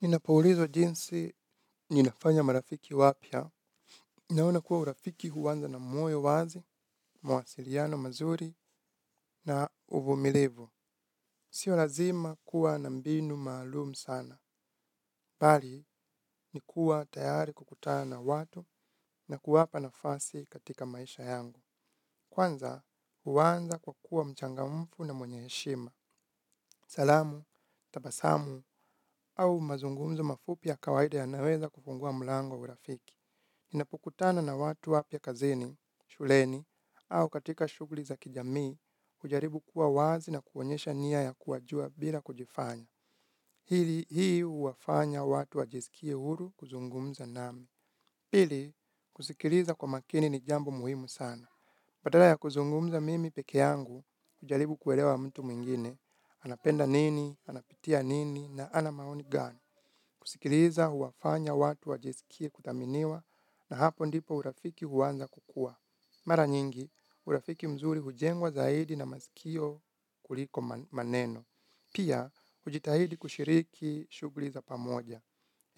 Ninapoulizwa jinsi ninafanya marafiki wapya. Ninaona kuwa urafiki huanza na moyo wazi, mawasiliano mazuri na uvumilivu. Sio lazima kuwa na mbinu maalum sana. Bali, ni kuwa tayari kukutana na watu na kuwapa nafasi katika maisha yangu. Kwanza, huanza kwa kuwa mchangamfu na mwenye heshima. Salamu, tabasamu au mazungumzo mafupi ya kawaida yanaweza kufungua mlango wa urafiki. Ninapokutana na watu wapya kazini, shuleni au katika shughuli za kijamii, hujaribu kuwa wazi na kuonyesha niya ya kuwajua bila kujifanya. Ili hii huwafanya watu wajisikie huru kuzungumza nami. Pili, kusikiliza kwa makini ni jambo muhimu sana. Badala ya kuzungumza mimi peke yangu, hujaribu kuelewa mtu mwingine, anapenda nini, anapitia nini, na ana maoni gani. Kusikiliza huwafanya watu wajisikie kuthaminiwa na hapo ndipo urafiki huanza kukuwa. Mara nyingi, urafiki mzuri hujengwa zaidi na masikio kuliko maneno. Pia, hujitahidi kushiriki shughuli za pamoja.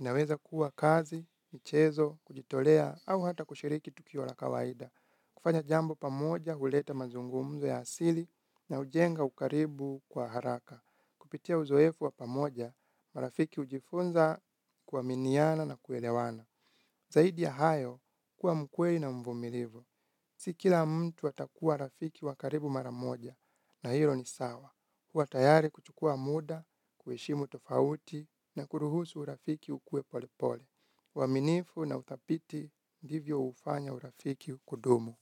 Inaweza kuwa kazi, michezo, kujitolea au hata kushiriki tukio la kawaida. Kufanya jambo pamoja, huleta mazungumzo ya asili na hujenga ukaribu kwa haraka. Kupitia uzoefu wa pamoja, marafiki hujifunza kuaminiana na kuelewana. Zaidi ya hayo kuwa mkweli na mvumilivu. Si kila mtu atakuwa rafiki wa karibu mara moja na hilo ni sawa. Kuwa tayari kuchukua muda, kuheshimu tofauti na kuruhusu urafiki ukue pole pole. Uaminifu na udhabiti ndivyo hufanya urafiki kudumu.